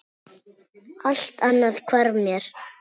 Allt annað hvarf mér.